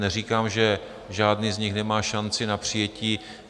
Neříkám, že žádný z nich nemá šanci na přijetí.